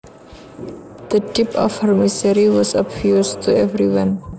The depth of her misery was obvious to everyone